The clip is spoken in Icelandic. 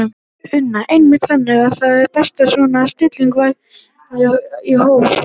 Una: Einmitt, þannig að það er best svona að stilla væntingunum í hóf?